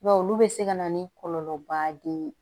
I b'a ye olu bɛ se ka na ni kɔlɔlɔba ye